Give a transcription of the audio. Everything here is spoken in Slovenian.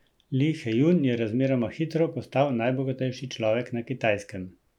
Li Hejun je razmeroma hitro postal najbogatejši človek na Kitajskem.